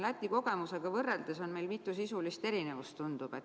Läti kogemusega võrreldes tundub, et meil on mitu sisulist erinevust.